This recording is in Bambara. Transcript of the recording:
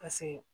Paseke